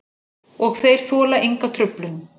Og þeir þola enga truflun.